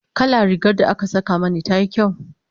kalla rigar da aka Saka Mani tayi kyau?